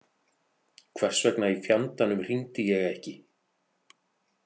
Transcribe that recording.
Hversvegna í fjandanum hringdi ég ekki?